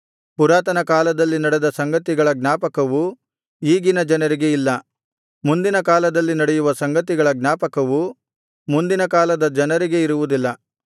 ಪುರಾತನ ಕಾಲದಲ್ಲಿ ನಡೆದ ಸಂಗತಿಗಳ ಜ್ಞಾಪಕವು ಈಗಿನ ಜನರಿಗೆ ಇಲ್ಲ ಮುಂದಿನ ಕಾಲದಲ್ಲಿ ನಡೆಯುವ ಸಂಗತಿಗಳ ಜ್ಞಾಪಕವು ಮುಂದಿನ ಕಾಲದ ಜನರಿಗೆ ಇರುವುದಿಲ್ಲ